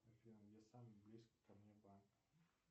афина где самый близкий ко мне банк